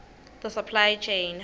the supply chain